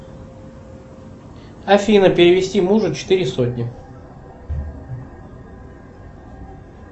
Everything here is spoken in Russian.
афина перевести мужу четыре сотни